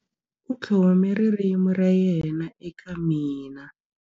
U tlhome ririmi ra yena eka mina.